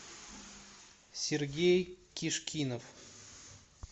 сергей кишкинов